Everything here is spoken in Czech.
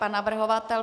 Pan navrhovatel.